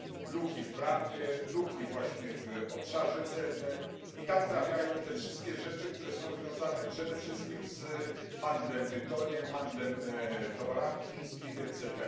Luki w prawie, luki właśnie w obszarze celnym, i tam trafiają te wszystkie rzeczy, które są związane przede wszystkim z handlem tytoniem, handlem towarami chińskimi, etc.